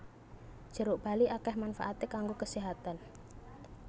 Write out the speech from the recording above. Jeruk bali akèh manfaaté kanggo keséhatan